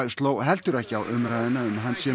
sló heldur ekki á umræðuna um að hann sé